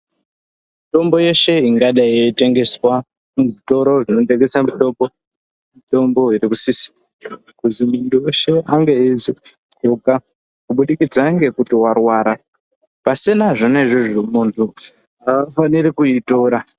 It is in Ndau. Mitombo yeshe ingadai yeitengeswaa muzvitoro zvinotengesa mutombo zvinosisirwe kuti muntu weshe ange aizoitora kubudikidza ngekuti warwara pasina zvona izvozvo muntu haafaniri kuitora.